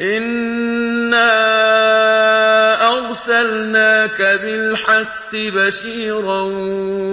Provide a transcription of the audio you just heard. إِنَّا أَرْسَلْنَاكَ بِالْحَقِّ بَشِيرًا